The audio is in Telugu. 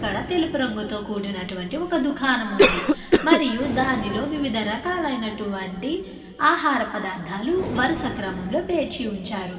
ఇక్కడ తెలుపు రంగుతో కూడినటువంటి ఒక దుకాణం ఉంది. మరియు దానిలో వివిధ రకాలైనటువంటి ఆహార పదార్థాలు వరస క్రమం లో పేర్చి ఉంచారు.